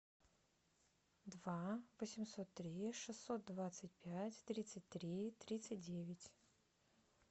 два восемьсот три шестьсот двадцать пять тридцать три тридцать девять